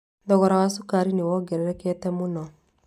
Thogora wa cukari nĩ wongererekete mũno